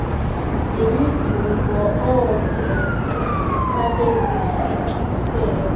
yimivumbo oobhede babezifikisela